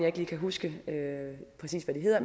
ikke lige kan huske præcis hvad de hedder